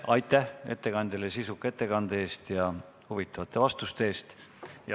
Aitäh ettekandjale sisuka ettekande eest ja huvitavate vastuste eest!